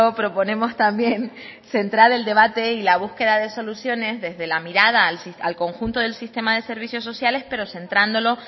proponemos también centrar el debate y la búsqueda de soluciones desde la mirada al conjunto del sistema de servicios sociales pero centrándolo